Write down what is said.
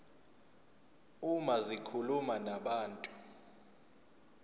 uma zikhuluma nabantu